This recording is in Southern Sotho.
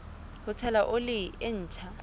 ho tshela oli e ntjha